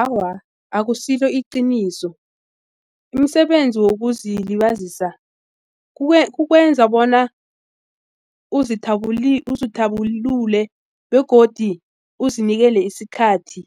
Awa, akusilo iqiniso umsebenzi wokuzilibazisa ukwenza bona uzithabulule begodu uzinikele isikhathi